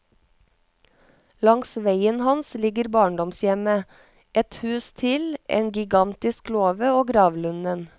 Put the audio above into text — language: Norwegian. Langs veien hans ligger barndomshjemmet, ett hus til, en gigantisk låve og gravlunden.